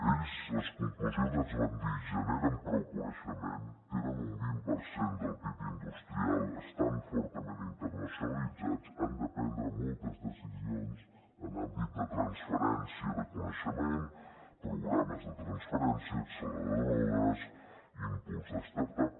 ells a les conclusions ens van dir generen prou coneixement tenen un vint per cent del pib industrial estan fortament internacionalitzats han de prendre moltes decisions en àmbit de transferència de coneixement programes de transferència acceleradores impuls de start up